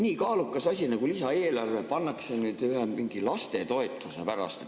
Nii kaalukas asi nagu lisaeelarve pannakse nüüd mingi lastetoetuse pärast ...